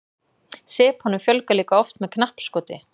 sepunum fjölgar líka oft með knappskoti